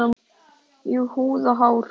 Í húð og hár.